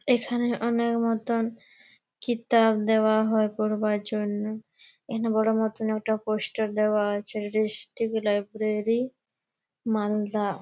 এখানে মতন দেওয়া হয় পড়বার জন্যে। এখানে বড় মতন একটা পোস্টার দেওয়া আছে। লাইব্রেরী মালদা।